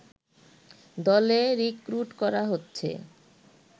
দলে রিক্রুট করা হচ্ছে